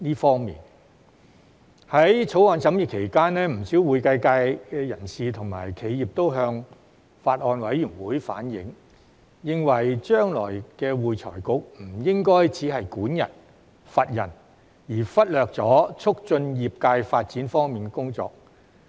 在《條例草案》審議期間，不少會計界人士和企業都向法案委員會反映，認為將來的會財局不應只是管人、罰人，而忽略促進業界發展方面的工作。